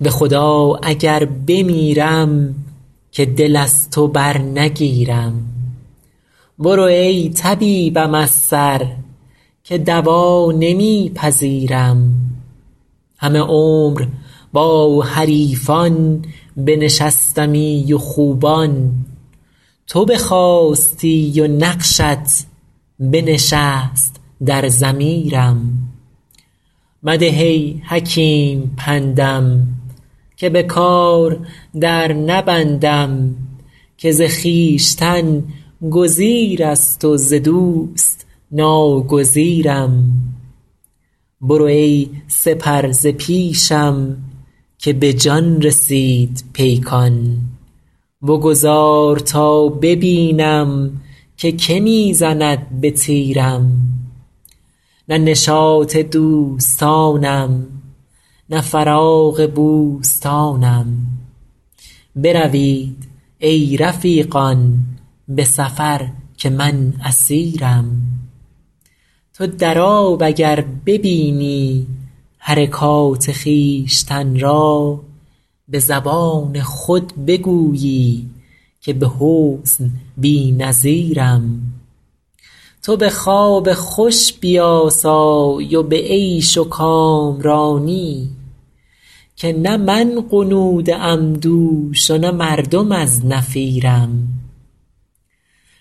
به خدا اگر بمیرم که دل از تو برنگیرم برو ای طبیبم از سر که دوا نمی پذیرم همه عمر با حریفان بنشستمی و خوبان تو بخاستی و نقشت بنشست در ضمیرم مده ای حکیم پندم که به کار در نبندم که ز خویشتن گزیر است و ز دوست ناگزیرم برو ای سپر ز پیشم که به جان رسید پیکان بگذار تا ببینم که که می زند به تیرم نه نشاط دوستانم نه فراغ بوستانم بروید ای رفیقان به سفر که من اسیرم تو در آب اگر ببینی حرکات خویشتن را به زبان خود بگویی که به حسن بی نظیرم تو به خواب خوش بیاسای و به عیش و کامرانی که نه من غنوده ام دوش و نه مردم از نفیرم